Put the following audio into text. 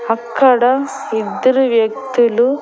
అక్కడ ఇద్దరు వ్యక్తులు.